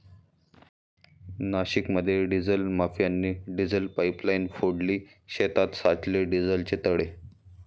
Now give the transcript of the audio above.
नाशिकमध्ये डिझेल माफियांनी diesel pipeline फोडली, शेतात साचले डिझेलचे तळे